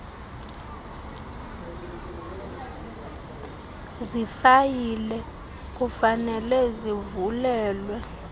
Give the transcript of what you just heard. zifayile kufanele zivulelwe